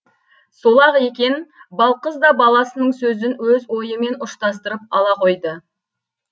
сол ақ екен балқыз да баласының сөзін өз ойымен ұштастырып ала қойды